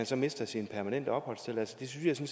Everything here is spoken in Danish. så mister sin permanente opholdstilladelse det synes jeg